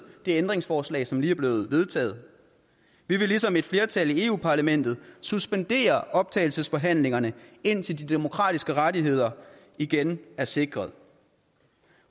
det ændringsforslag som lige er blevet vedtaget vi vil ligesom et flertal i europa parlamentet suspendere optagelsesforhandlingerne indtil de demokratiske rettigheder igen er sikret